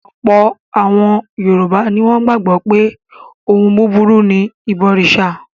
Ọ̀pọ̀lọpọ̀ àwọn Yorùbá ni wọ́n gbàgbọ́ pé ohun búburú ni ìbọrìṣà.